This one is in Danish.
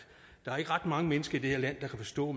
der er ikke ret mange mennesker i det her land der kan forstå